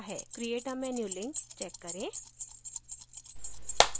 create a menu link check करें